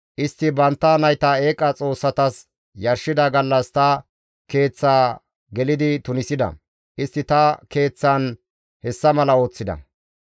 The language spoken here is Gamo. Istti bantta nayta eeqa xoossatas yarshida gallas ta keeththaa gelidi tunisida. Istti ta keeththan hessa mala ooththida.